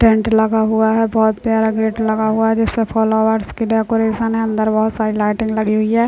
Tent लगा हुआ है बहुत प्यारा गेट लगा हुआ है जिसपे फ्लावर्स की डेकोरेशन है अंदर बहुत सारी लाइटिंग लगी हुई हैं।